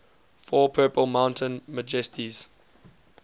for purple mountain majesties